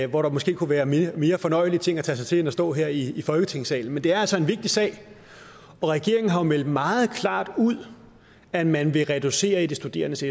hvor der måske kunne være mere fornøjelige ting at tage sig til end at stå her i folketingssalen men det er altså en vigtig sag og regeringen har jo meldt meget klart ud at man vil reducere i de studerendes